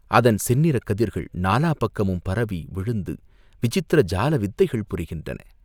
அதன் செந்நிறக் கதிர்கள் நாலா பக்கமும் பரவி விழுந்து விசித்திர ஜால வித்தைகள் புரிகின்றன.